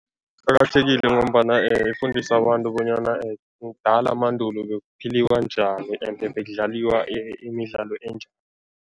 Iqakathekile ngombana ifundisa abantu bonyana kudala mandulo bekuphilwa njani ende bekudlaliwa imidlalo enjani.